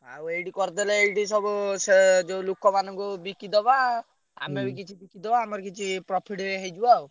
ଆଉ ଏଇଠି କରିଦେଲେ ଏଇଠି ସବୁ ସେ ଯୋଉ ଲୋକମାନଙ୍କୁ ବିକିଦବା। ଆମେବି କିଛି ବିକିଦବା ଆମର କିଛି profit ବି ହେଇଯିବ ଆଉ।